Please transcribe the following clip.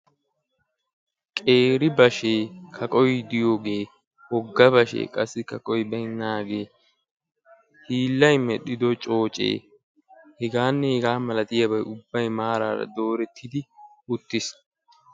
Qeeri bashee kaqoy diyooge wogga bashee qassi kaqoy baynnaage hiillay medhdhido coocee heganne hegaa malatiyaabay ubbay maaraara doorettidi uttiis.